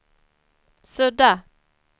sudda